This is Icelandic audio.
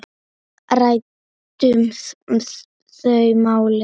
Ræddum þau mál.